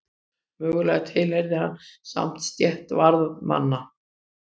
Mögulega tilheyrði hann samt stétt varðmanna.